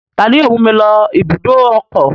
Ta ni yóò mú mi lọ ibùdó ọkọ̀?